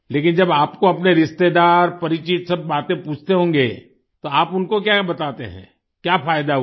लेकिन जब आपको अपने रिश्तेदार परिचित सब बातें पूछते होंगे तो आप उनको क्याक्या बताते हैं क्या फायदा हुआ